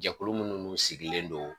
Jɛkulu munnu sigilen don